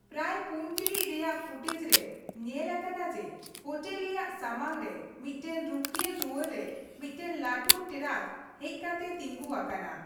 ᱯᱨᱟᱭ ᱯᱩᱱ ᱴᱤᱬᱤᱡ ᱨᱮᱭᱟᱜ ᱯᱷᱩᱴᱮᱡ ᱨᱮ ᱧᱮᱞ ᱟᱠᱟᱱᱟ ᱡᱮ, ᱦᱳᱴᱮᱞ ᱨᱮᱭᱟᱜ ᱥᱟᱢᱟᱝ ᱨᱮ ᱢᱤᱫᱴᱮᱱ ᱨᱩᱠᱷᱟᱹᱭᱟ ᱫᱩᱣᱟᱹᱨ ᱨᱮ ᱢᱤᱫᱴᱮᱱ ᱞᱟᱹᱴᱩ ᱴᱮᱨᱟᱠ ᱦᱮᱡᱠᱟᱛᱮ ᱛᱤᱸᱜᱩ ᱟᱠᱟᱱᱟ ᱾